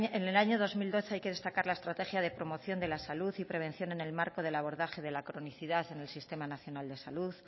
en el año dos mil doce hay que destacar la estrategia de promoción de la salud y prevención en el marco del abordaje de la cronicidad en el sistema nacional de salud